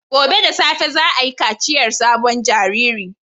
Gobe ​​da safe za a yi kaciyar sabon jariri